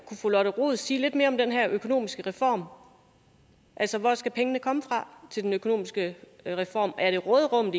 kunne fru lotte rod sige lidt mere om den her økonomiske reform altså hvor skal pengene komme fra til den økonomiske reform er det råderummet